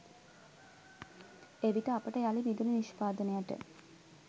එවිට අපට යළි විදුලි නිෂ්පාදනයට